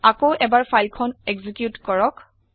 আকৌ এবাৰ ফাইল খন একজিকিউত কৰক